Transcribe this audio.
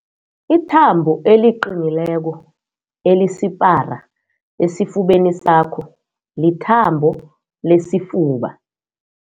Ithambo eliqinileko elisipara esifubeni sakho lithambo lesifuba.